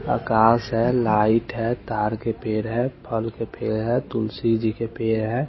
घास है लाइट तार के पेड़ है फल के पेड़ है तुलसी जी के पेड़ है।